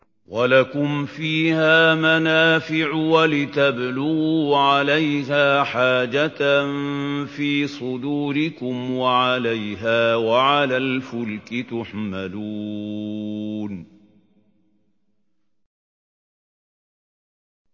وَلَكُمْ فِيهَا مَنَافِعُ وَلِتَبْلُغُوا عَلَيْهَا حَاجَةً فِي صُدُورِكُمْ وَعَلَيْهَا وَعَلَى الْفُلْكِ تُحْمَلُونَ